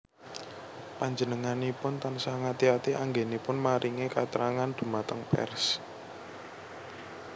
Panjenenganipun tansah ngati ati anggénipun maringi katrangan dhumateng pers